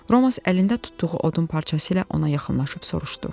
Romas əlində tutduğu odun parçası ilə ona yaxınlaşıb soruşdu: